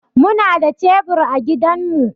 Muna da cebur a gidanmu.